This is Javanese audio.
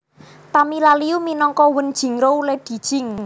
Tamia Liu minangka Wen Jingruo Lady Jing